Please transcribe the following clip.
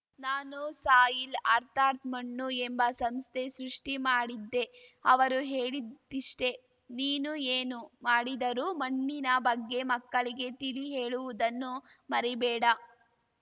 ನಾನು ಸಾಯಿಲ್‌ ಅರ್ಥಾತ್‌ ಮಣ್ಣು ಎಂಬ ಸಂಸ್ಥೆ ಸೃಷ್ಟಿಮಾಡಿದ್ದೆ ಅವರು ಹೇಳಿದ್ದಿಷ್ಟೇ ನೀನು ಏನು ಮಾಡಿದರೂ ಮಣ್ಣಿನ ಬಗ್ಗೆ ಮಕ್ಕಳಿಗೆ ತಿಳಿಹೇಳುವುದನ್ನು ಮರಿಬೇಡ